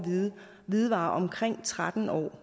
hvidevarer omkring tretten år